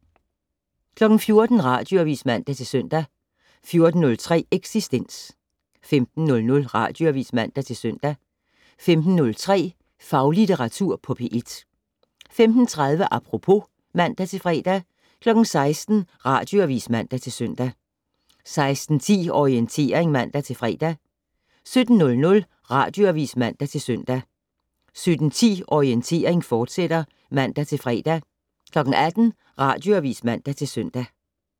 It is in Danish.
14:00: Radioavis (man-søn) 14:03: Eksistens 15:00: Radioavis (man-søn) 15:03: Faglitteratur på P1 15:30: Apropos (man-fre) 16:00: Radioavis (man-søn) 16:10: Orientering (man-fre) 17:00: Radioavis (man-søn) 17:10: Orientering, fortsat (man-fre) 18:00: Radioavis (man-søn)